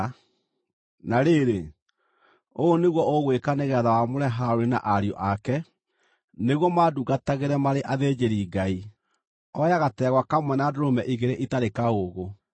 “Na rĩrĩ, ũũ nĩguo ũgwĩka nĩgeetha wamũre Harũni na ariũ ake, nĩguo mandungatagĩre marĩ athĩnjĩri-Ngai: Oya gategwa kamwe na ndũrũme igĩrĩ itarĩ kaũũgũ.